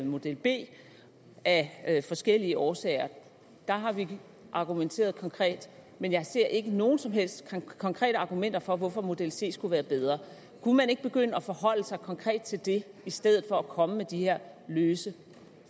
model b af forskellige årsager der har vi argumenteret konkret men jeg ser ikke nogen som helst konkrete argumenter for hvorfor model c skulle være bedre kunne man ikke begynde at forholde sig konkret til det i stedet for at komme med de her løse